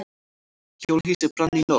Hjólhýsi brann í nótt